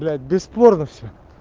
блять бесспорно все